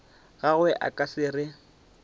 gagwe a ka se re